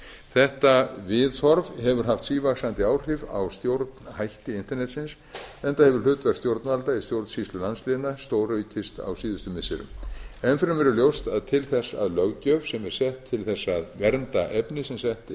þetta viðhorf hefur haft sívaxandi áhrif á stjórnhætti internetsins enda hefur hlutverk stjórnvalda í stjórnsýslu landsléna stóraukist á síðustu missirum enn fremur er ljóst að til þess að löggjöf sem er sett til þess að vernda efni sem sett er